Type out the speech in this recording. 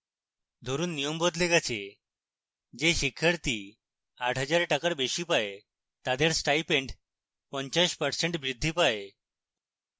ধরুন নিয়ম বদলে গেছে: যে শিক্ষার্থী 8000 টাকার বেশী পায় তাদের stipend 50% বৃদ্ধি পায়